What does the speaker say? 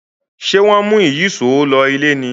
ṣe wón mú Ìyíṣòó ló ilé ní?